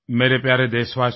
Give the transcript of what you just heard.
मेरे प्यारे देशवासियो